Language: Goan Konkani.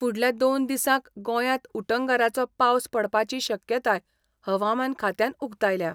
फुडल्या दोन दिसांक गोंयात उटंगरांचो पावस पडपाची शक्यताय हवामान खात्यान उक्तायल्या.